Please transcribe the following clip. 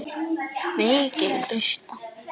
MIKIL BIRTA